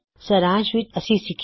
ਸਾਰਾਂਸ਼ ਵਿੱਚ ਅਸੀ ਸਿਖਿਆ